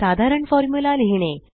साधारण फॉर्मुला लिहीणे